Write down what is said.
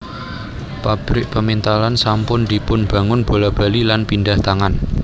Pabrik pemintalan sampun dipunbangun bola bali lan pindhah tangan